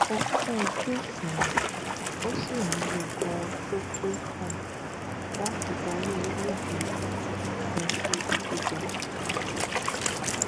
ó kún ojú òṣùwọn ó sì ní gbogbo ohun tó pẹ fún láti darí orílẹèdè yìí lọ sí ibi gíga